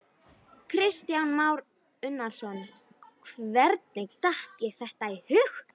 Kristján Már Unnarsson: Hvernig datt þér þetta í hug?